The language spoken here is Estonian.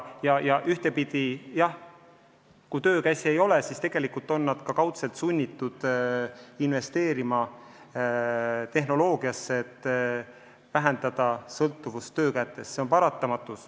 Ühtepidi ongi nii, et kui töökäsi ei ole, siis on nad lausa sunnitud investeerima tehnoloogiasse, et vähendada sõltuvust töökätest – see on paratamatus.